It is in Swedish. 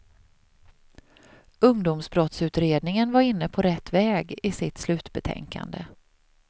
Ungdomsbrottsutredningen var inne på rätt väg i sitt slutbetänkande.